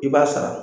I b'a sara